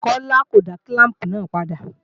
Kọ́lá ó dá kílàmpù náà padà